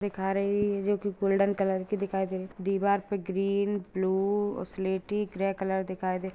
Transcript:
दिखा रही है जो कि गोल्डन कलर की दिखाई दे रही दीवार पे ग्रीन ब्लू सलेटी ग्रे कलर दिखाई दे --